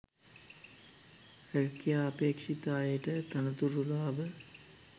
රැකියා අපේක්‍ෂිත අයට තනතුරු ලාභ